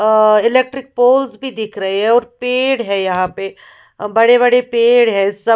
अ electric poles भी दिख रहे हैं और पेड़ भी है यहाँ पे बड़े बड़े पेड़ है सब --